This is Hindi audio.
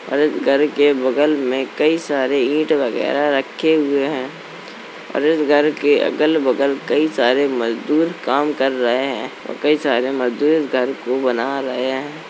और इस घर के बगल में कई सारे ईंट वगैरह रखे हुए हैं और इस घर के अगल-बगल कई सारे मजदूर काम कर रहे हैं और कई सारे मजदूर इस घर को बना रहे हैं।